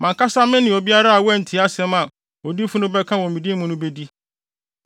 Mʼankasa me ne obiara a wantie asɛm a odiyifo no bɛka wɔ me din mu no bedi.